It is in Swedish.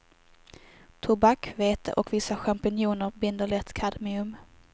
Tobak, vete och vissa champinjoner binder lätt kadmium.